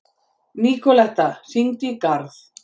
Nikoletta, hringdu í Garð.